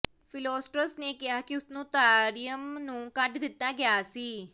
Philostratus ਨੇ ਕਿਹਾ ਕਿ ਉਸਨੂੰ ਤਾਰਿਅਮ ਨੂੰ ਕੱਢ ਦਿੱਤਾ ਗਿਆ ਸੀ